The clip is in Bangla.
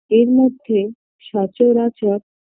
এরমধ্যে সচরাচর